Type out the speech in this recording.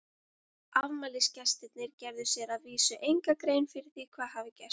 Afmælisgestirnir gerðu sér að vísu enga grein fyrir því hvað gerst hafði.